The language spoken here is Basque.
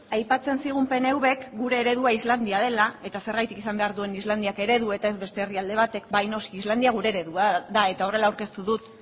aipatzen zigun pnvk gure eredua islandia dela eta zergatik izan behar duen islandiak eredu eta ez beste herrialde batek bai noski islandia gure eredua da eta horrela aurkeztu dut